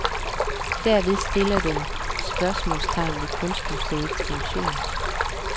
Derved stiller den spørgsmålstegn ved kunstmuseernes funktion.